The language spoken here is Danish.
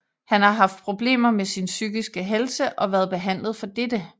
Han havde haft problemer med sin psykiske helse og været behandlet for dette